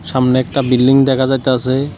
সামনে একটা বিল্ডিং দেখা যাইতাসে।